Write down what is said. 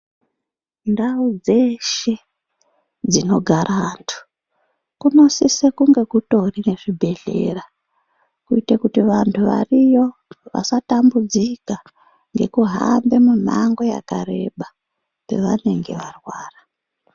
Ndau dzeshe dzinogara antu, kunosise kunge kutori nezvibhedhlera ,kuyite kuti vantu variyo vasatambudzika ngekuhambe mumango yakareba ,pavanenge varwara.